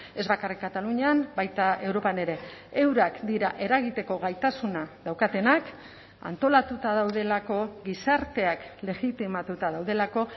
ez bakarrik katalunian baita europan ere eurak dira eragiteko gaitasuna daukatenak antolatuta daudelako gizarteak legitimatuta daudelako